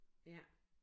Ja